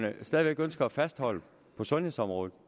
ønsker at fastholde på sundhedsområdet